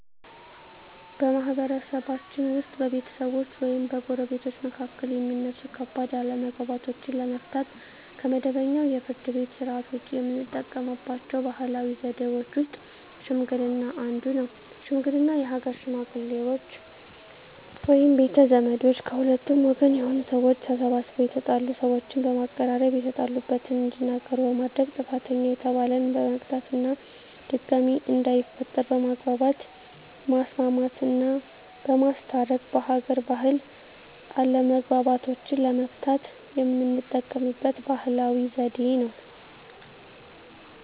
በማህበረሰብችን ውስጥ በቤተሰቦች ወይም በጎረቤቶች መካከል የሚነሱ ከባድ አለመግባባቶችን ለመፍታት (ከመደበኛው የፍርድ ቤት ሥርዓት ውጪ) የምንጠቀምባቸው ባህላዊ ዘዴዎች ውስጥ ሽምግልና አንዱ ነው። ሽምግልና የሀገር ሽመግሌዎች ወይም ቤተ ዘመዶች ከሁለቱም ወገን የሆኑ ሰዎች ተሰባስበው የተጣሉ ሰዎችን በማቀራረብ የተጣሉበትን እንዲናገሩ በማድረግ ጥፋተኛ የተባለን በቅጣት እና ድጋሜ እንዳይፈጠር በማግባባት ማስማማትና በማስታረቅ በሀገር ባህል አለመግባባቶችን ለመፍታት የምንጠቀምበት ባህላዊ ዘዴ ነው።